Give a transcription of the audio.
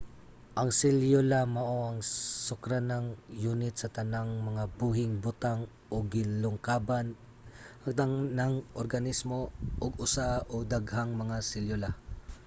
ang selyula mao ang sukaranang yunit sa tanang mga buhing butang ug gilangkuban ang tanang organismo og usa o daghang mga selyula